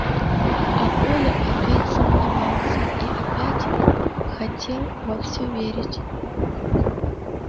а коля опять сомневался и опять хотел во всё верить